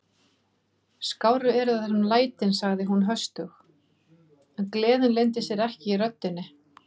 Skárri eru það nú lætin sagði hún höstug, en gleðin leyndi sér ekki í röddinni.